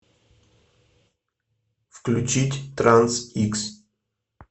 включить транс икс